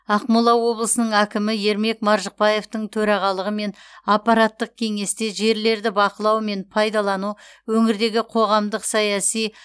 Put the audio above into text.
ақмола облысының әкімі ермек маржықпаевтың төрағалығымен аппараттық кеңесте жерлерді бақылау мен пайдалану өңірдегі қоғамдық саяси